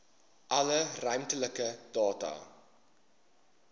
alle ruimtelike data